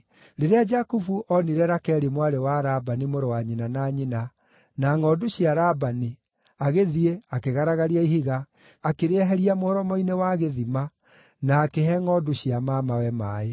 Rĩrĩa Jakubu onire Rakeli mwarĩ wa Labani, mũrũ wa nyina na nyina, na ngʼondu cia Labani, agĩthiĩ, akĩgaragaria ihiga, akĩrĩeheria mũromo-inĩ wa gĩthima na akĩhe ngʼondu cia mamawe maaĩ.